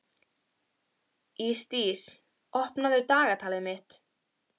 Ísdís, opnaðu dagatalið mitt.